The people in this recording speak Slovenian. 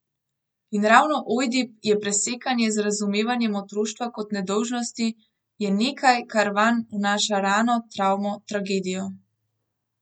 In ravno Ojdip je presekanje z razumevanjem otroštva kot nedolžnosti, je nekaj, kar vanj vnaša rano, travmo, tragedijo.